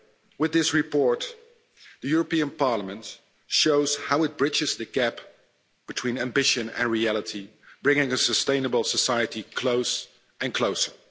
With this report, the European Parliament shows how it bridges the gap between ambition and reality, bringing a sustainable society closer and closer.